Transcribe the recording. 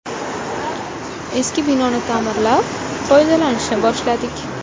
Eski binoni ta’mirlab, foydalanishni boshladik.